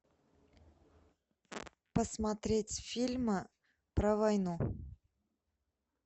посмотреть фильмы про войну